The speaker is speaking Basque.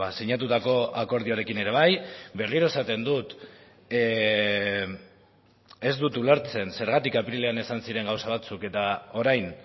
sinatutako akordioarekin ere bai berriro esaten dut ez dut ulertzen zergatik apirilean esan ziren gauza batzuk eta orain